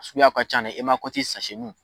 Suguyaw ka ca i ma